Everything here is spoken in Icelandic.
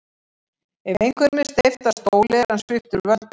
Ef einhverjum er steypt af stóli er hann sviptur völdum.